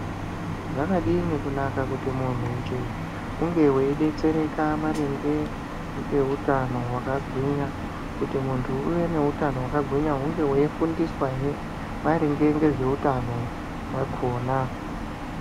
Zvakadini kunaka kuti muntu njee unge weidetsereka maringe ngeutano hwakagwinya? Kuti muntu uve nehutano hwakagwinya hunge weifundiswahe maringe ngezveutano hwakona.